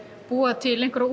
búa til einhverja